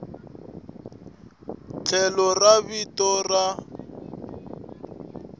tlhelo ra vito ra n